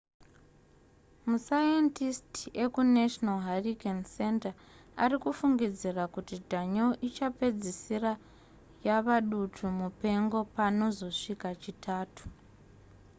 masayendisiti ekunational hurricane center ari kufungidzira kuti danielle ichapedzisira yava dutu mupengo panozosvika chitatu